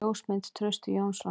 Ljósmynd: Trausti Jónsson.